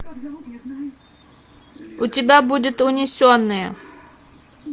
у тебя будет унесенные